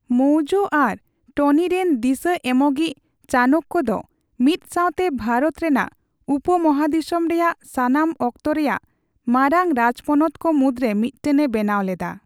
ᱢᱚᱣᱡᱚ ᱟᱨ ᱴᱱᱤ ᱨᱮᱱ ᱫᱤᱥᱟᱹ ᱮᱢᱚᱜᱤᱪ ᱪᱟᱱᱠᱚ ᱫᱚ ᱢᱤᱫ ᱥᱟᱣᱛᱮ ᱵᱷᱟᱨᱚᱛ ᱨᱮᱱᱟᱜ ᱩᱯᱢᱚᱦᱟᱫᱤᱥᱚᱢ ᱨᱮᱭᱟᱜ ᱥᱟᱱᱟᱢ ᱚᱠᱛᱚ ᱨᱮᱭᱟᱜ ᱢᱟᱨᱟᱝ ᱨᱟᱡᱯᱚᱱᱚᱛ ᱠᱚ ᱢᱩᱫᱽᱨᱮ ᱢᱤᱫᱴᱮᱱ ᱮ ᱵᱮᱱᱟᱣᱞᱮᱫᱟ ᱾